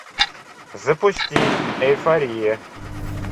запусти эйфория